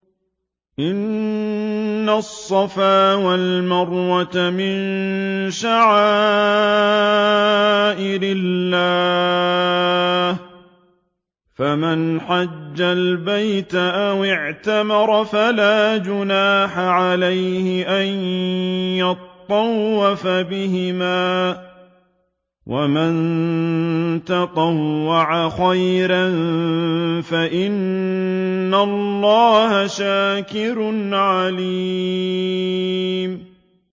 ۞ إِنَّ الصَّفَا وَالْمَرْوَةَ مِن شَعَائِرِ اللَّهِ ۖ فَمَنْ حَجَّ الْبَيْتَ أَوِ اعْتَمَرَ فَلَا جُنَاحَ عَلَيْهِ أَن يَطَّوَّفَ بِهِمَا ۚ وَمَن تَطَوَّعَ خَيْرًا فَإِنَّ اللَّهَ شَاكِرٌ عَلِيمٌ